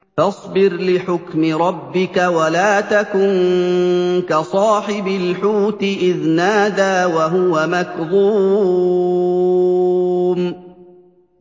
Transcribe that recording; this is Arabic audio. فَاصْبِرْ لِحُكْمِ رَبِّكَ وَلَا تَكُن كَصَاحِبِ الْحُوتِ إِذْ نَادَىٰ وَهُوَ مَكْظُومٌ